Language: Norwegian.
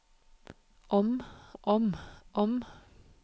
om om om